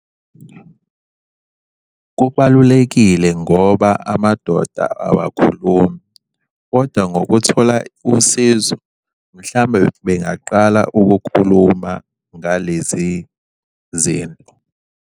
Kubalulekile ngoba amadoda awakhulumi, koda ngokuthola usizo, mhlawumbe bengaqala ukukhuluma ngalezi zinto.